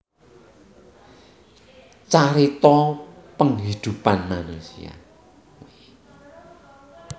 Cerita Penghidupan Manusia